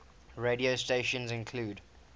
radio stations include